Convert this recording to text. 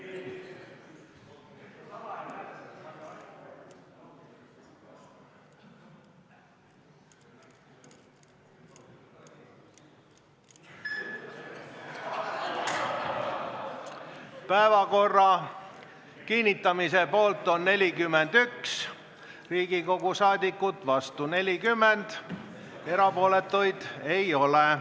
Hääletustulemused Päevakorra kinnitamise poolt on 41 rahvasaadikut, vastu on 40, erapooletuid ei ole.